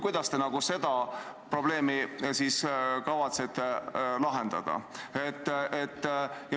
Kuidas te selle probleemi kavatsete lahendada?